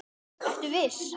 Ertu viss?